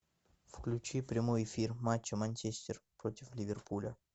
включи прямой эфир матча манчестер против ливерпуля